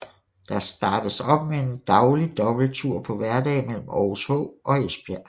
Der startes op med en daglig dobbelttur på hverdage mellem Aarhus H og Esbjerg